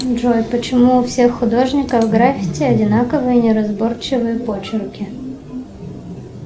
джой почему у всех художников граффити одинаковые неразборчивые почерки